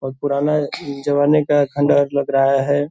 बहुत पुराना जवानी का खंडहर लग रहा है ।